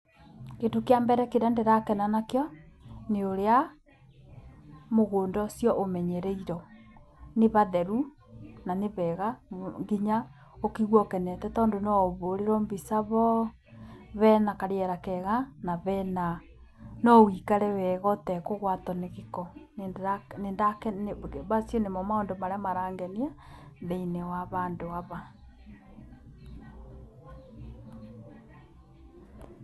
Kĩndũ kĩa mbere kĩrĩa ndĩrakena nakĩo, nĩ ũrĩa mũgũnda ũcio ũmenyereirwo. Nĩ hatheru na nĩ heega nginya ũkaigua ũkenete tondũ no ũhũrĩrwo mbica ho, hena karĩera keega na noũikare weega ũtekũgwatwo nĩ gĩko. Macio nĩmo maũndũ marĩa marangenia thĩinĩ wa handũ haha.